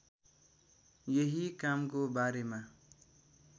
यही कामको बारेमा